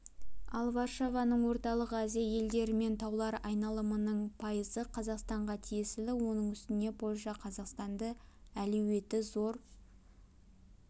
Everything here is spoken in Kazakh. ал варшаваның орталық азия елдерімен тауар айналымының пайызы қазақстанға тиесілі оның үстіне польша қазақстанды әлеуеті зор